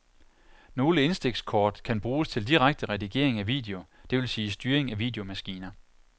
Nogle indstikskort kan bruges til direkte redigering af video, det vil sige styring af videomaskiner.